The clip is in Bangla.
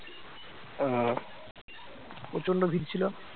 প্রচন্ড ভিড় ছিল